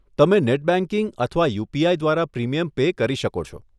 તમે net banking અથવા UPI દ્વારા પ્રીમિયમ પે કરી શકો છો.